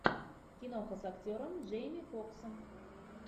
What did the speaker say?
киноха с актером джейми фоксом